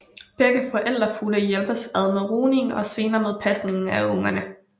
Begge forældrefugle hjælpes ad med rugningen og senere med pasningen af ungerne